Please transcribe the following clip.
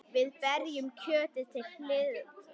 Við berjum kjötið til hlýðni.